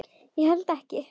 Ég held ekki.